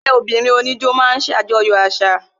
Ẹgbẹ́ obìnrin oníjó máa ń ṣe ajoyo àṣà